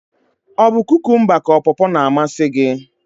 Ọ bu kụkụmba ka pọpọ na-amasị gi?